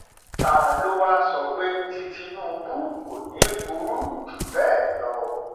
ta ló wáá sọ pé tí tìtúngbù kò ní í burú jù bẹẹ lọ